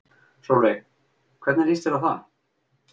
Sólveig: Hvernig líst þér á það?